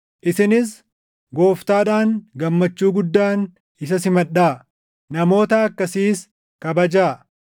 Isinis Gooftaadhaan gammachuu guddaan isa simadhaa; namoota akkasiis kabajaa;